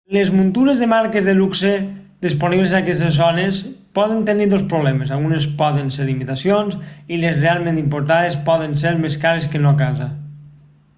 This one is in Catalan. les muntures de marques de luxe disponibles en aquestes zones poden tenir dos problemes algunes poden ser imitacions i les realment importades poden ser més cares que no a casa